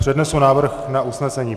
Přednesu návrh na usnesení.